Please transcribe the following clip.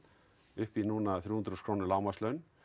upp í núna þrjú hundruð þúsund krónur lágmarkslaun